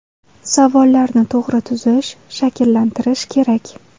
Savollarni to‘g‘ri tuzish, shakllantirish kerak”.